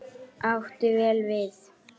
Átti vel við.